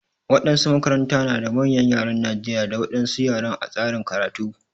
Waɗansu makaranta na da manyan ƴaren Najeriƴa da wadansu ƴaren a tsarin karatu.